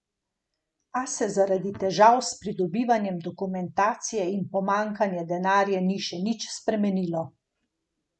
A se zaradi težav s pridobivanjem dokumentacije in pomanjkanja denarja ni še nič premaknilo.